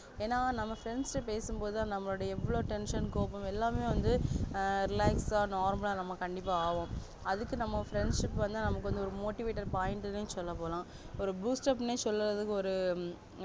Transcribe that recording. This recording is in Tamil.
ஏனா நம்ம friends கிட்ட பேசும்போதுதா நம்மலுடைய எவ்ளோ tension கோவம் எல்லாமே வந்து ஆஹ் relax ஆஹ் normal ஆஹ் நாம கண்டிப்பா ஆவோம் அதுக்கு நம்ம friendship வந்து நமக்கு வந்து ஒரு motivater point சொல்லபோனா ஒரு boost up நே சொல்றதுக்கு ஒரு